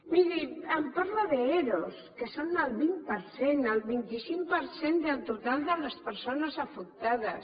miri em parla d’ero que són el vint per cent el vint cinc per cent del total de les persones afectades